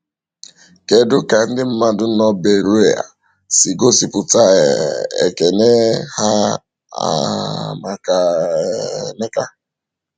Kedu ka ndị mmadụ nọ Beroea si gosipụta um ekele ha um maka um Emeka?